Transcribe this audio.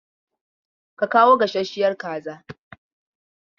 Ka kawo gasasshiyar kaza!